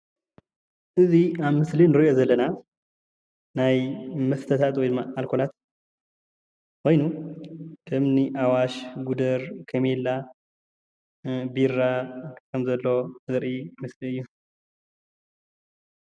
እዚ ኣብ ምስሊ እንሪኦ ዘለና ናይ መስታታት ወይ ድማ ኣልኮላት ኾይኑ ከምኒ ኣዋሽ፣ ጉደር ፣ከሜላ ፣ቢራ ከም ዘሎ ዘርኢ ምስሊ እዩ።